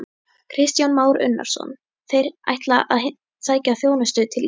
Kristján Már Unnarsson: Þeir ætla að sækja þjónustu til Íslands?